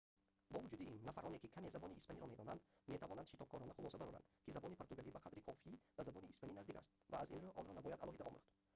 бо вуҷуди ин нафароне ки каме забони испаниро медонанд метавонанд шитобкорона хулоса бароранд ки забони португалӣ ба қадри кофӣ ба забони испанӣ наздик аст ва аз ин рӯ онро набояд алоҳида омӯхт